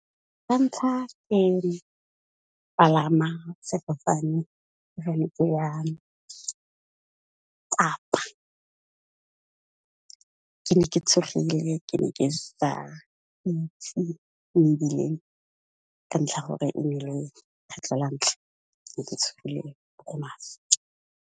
La ntlha ke palama sefofane ga ne ke ya Kapa, ke ne ke tshogile ke ne ke sa itse mebileng ka ntlha ya gore e ne le kgetlo la ntlha ne ke tshogile mo go maswe.